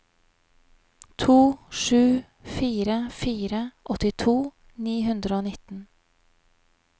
to sju fire fire åttito ni hundre og nitten